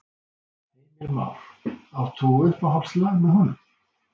Heimir Már: Átt þú uppáhaldslag með honum?